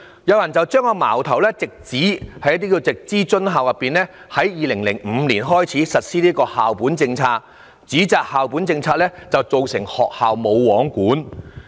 有人把矛頭指向直資津校自2005年起實施的校本政策，造成學校"無皇管"。